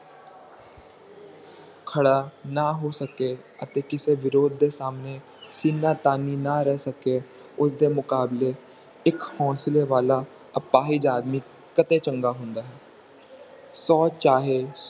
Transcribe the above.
ਖੜਾ ਨਾ ਹੋ ਸਕੇ ਅਤੇ ਕਿਸੇ ਵਿਰੋਧ ਦੇ ਸਾਮਣੇ ਸੀਨਾ ਤਾਣੀ ਨਾ ਰਹਿ ਸਕੇ ਉਸ ਦੇ ਮੁਕਾਬਲੇ ਇੱਕ ਹੋਂਸਲੇ ਵਾਲਾ ਅਪਾਹਜ ਆਦਮੀ ਕਤੇ ਚੰਗਾ ਹੁੰਦਾ ਹੈ ਸੌ ਚਾਹੇ